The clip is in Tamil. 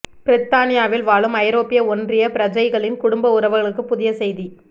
பிரித்தானியாவில் வாழும் ஐரோப்பிய ஒன்றிய பிரஜைகளின் குடும்ப உறவுகளுக்கு புதிய செய்தி